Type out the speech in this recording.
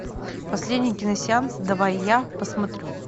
последний киносеанс давай я посмотрю